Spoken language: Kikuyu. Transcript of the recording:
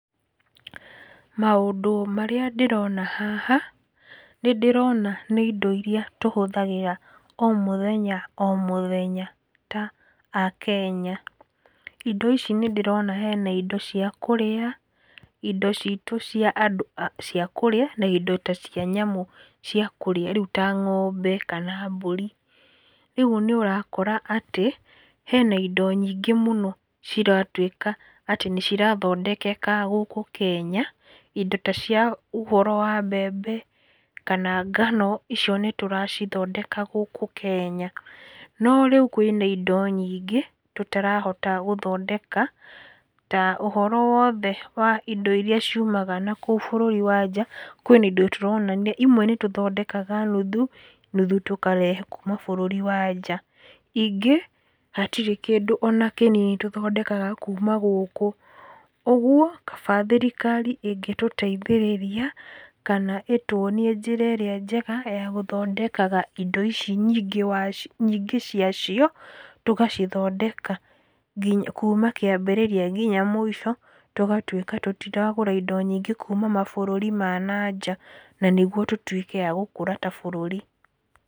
Maũndũ marĩa ndĩrona haha, nĩ ndĩrona nĩ indo irĩa tũhũthagĩra o mũthenya o mũthenya ta akenya. Indo ici nĩ ndĩrona hena indo cia kũrĩa, indo citũ cia kũrĩa na indo ta cia nyamũ cia kũrĩa rĩu ta ng'ombe kana mbũri. Rĩu nĩ ũrakora atĩ hena ingo nyingĩ mũno ciratuĩka atĩ nĩ cirathondekeka gũkũ Kenya. Indo ta cia ũhoro wa mbembe kana ngano, icio nĩtũracithondeka gũkũ Kenya. No rĩu hena indo nyingĩ irĩa tũtarahota gũthondeka ta ũhoro wothe wa indo irĩa ciumaga nakũu bũrũri wa nja. Kwĩna indo tũronania imwe nĩ tũthondekaga nuthu, nuthu tũkarehe kuuma bũrũri wa nja. Ingĩ hatirĩ kĩndũ ona kĩnini tũthondekaga kuuma gũkũ, ũguo kaba thirikari ĩngĩtũteithĩrĩria kana ĩtuonie njĩra ĩrĩa njega ya gũthondekaga indo ici. Nyingĩ ciacio tũgacithondeka kuuma kĩambĩrĩria nginya mũico. Tũgatuĩka tũtiragũra indo nyingĩ kuuma mabũrũri ma na nja, na nĩguo tũtuĩke a gũkũra ta bũrũri.